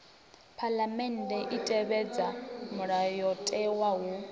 phaḽamennde i tevhedza mulayotewa hu